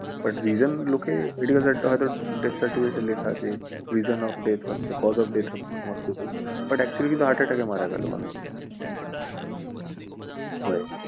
But reason হয়তো লোকের death certificate এ এটা হয়তো লেখা আছে যে reason of death হচ্ছে cause of death হচ্ছে covid but actually কিন্তু heart attack এ মারা গেলো মানুষটা। হয়।